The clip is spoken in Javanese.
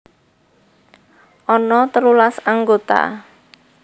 Ana telulas anggota